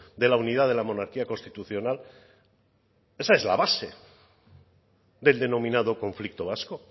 de la unidad de la monarquía constitucional esa es la base del denominado conflicto vasco